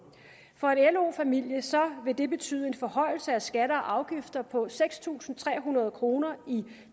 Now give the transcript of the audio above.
for en lo familie vil det betyde en forhøjelse af skatter og afgifter på seks tusind tre hundrede kroner i